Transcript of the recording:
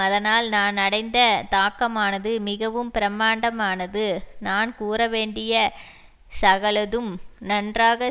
அதனால் நான் அடைந்த தாக்கமானது மிகவும் பிரமாண்டமானது நான் கூறவேண்டிய சகலதும் நன்றாக